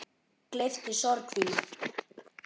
Gleypti sorg þína.